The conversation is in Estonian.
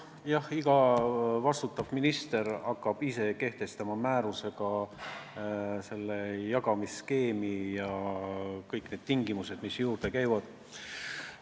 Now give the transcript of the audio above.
Jah, iga minister hakkab määrusega kehtestama jagamisskeemi ja kõiki tingimusi, mis sinna juurde käivad.